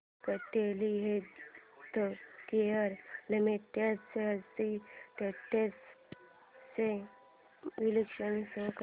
Cadila healthcare limited shares trends चे विश्लेषण show कर